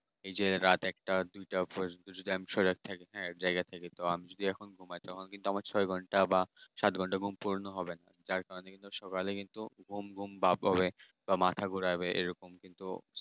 এইযে রাত একটা দুইটা পর্যন্ত যদি আমি সজাগ থাকি জায়গা থাকি আর এখন যদি ঘুমায় তখন কিন্তু ছ ঘন্টা বা সাত ঘন্টা ঘুম পূরণ হবে না যার কারণে শরীর ঘুম ঘুম ভাব হবে। বা মাথা ঘুরাবে এরকম তো